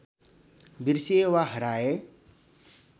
बिर्सिए वा हराए